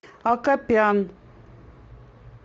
акопян